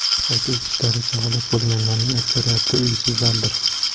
Qayd etishlaricha, halok bo‘lganlarning aksariyati uysizlardir.